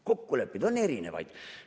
Kokkuleppeid on erinevaid.